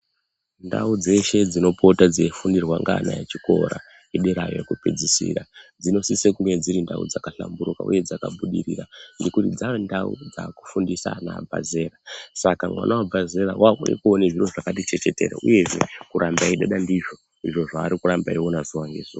Ndau dzeshe dzinopota dzeifundirwa ngeana echikora ederayo kwekupedzisira dzinosise kuva dziri ndau dzakahlamburika uye dzakabudirira ngekuti dza ndawu dzakufundise ana abve zera ,saka mwana wabve zera wakuuye koona zviro zvakati chechetere uyezve kuramba eidada ndizvo ,izvo zvaari kuramba eioona zuwa ngezuwa.